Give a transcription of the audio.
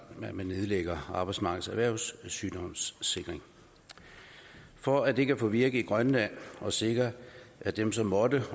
at man nedlægger arbejdsmarkedets erhvervssygdomssikring for at det kan at virke i grønland og sikre at dem som måtte